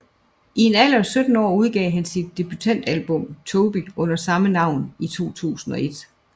I en alder af 17 år udgav han sit debutalbum Toby under samme navn i 2001